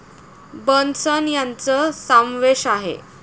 बर्नसन यांच सामवेश आहे.